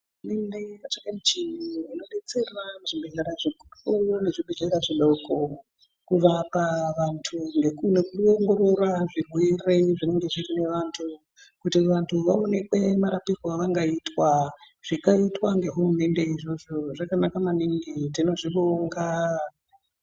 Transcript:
Hurumende yakatsvaka michini inobetsera muzvibhedhlera zvikuru nezvibhedhlera zvidoko. Kubva pavantu nekuongorora zvirwere zvine vantu kuti vantu vaonekwe marapirwo avangaitwa. Zvakaitwa ngehurumende izvozvo zvakanaka maningi tinozvibonga.